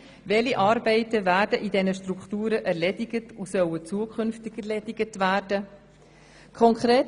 Welche Arbeiten werden in diesen Strukturen erledigt und sollen zukünftig erledigt werden?